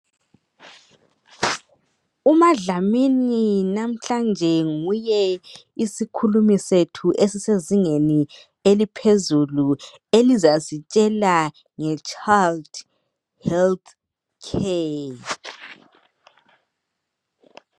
UmaDlamini namhlanje nguye isikhulumi sethu esisezingeni eliphezulu elizasitshela nge Child Health Care.